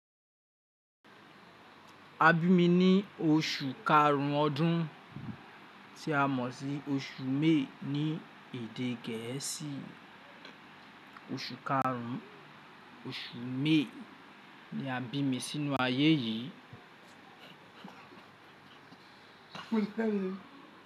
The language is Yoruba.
A bí mi ní oṣù karun ọdún, tí a mọ̀ sí oṣù May ní èdè gẹ̀ẹ́sì. Oṣù karun, oṣù May ni a bí mi sínú ayé yìí.